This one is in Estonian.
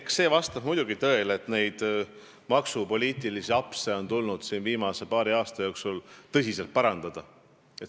Eks see vastab muidugi tõele, et neid maksupoliitilisi apse on tulnud siin viimase paari aasta jooksul tõsiselt parandada.